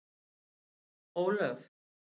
Ólöf